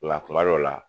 Nka kuma dɔw la